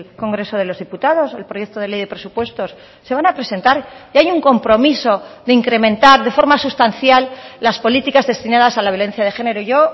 congreso de los diputados el proyecto de ley de presupuestos se van a presentar y hay un compromiso de incrementar de forma sustancial las políticas destinadas a la violencia de género yo